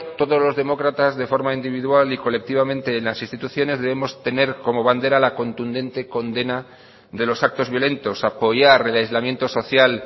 todos los demócratas de forma individual y colectivamente en las instituciones debemos tener como bandera la contundente condena de los actos violentos apoyar el aislamiento social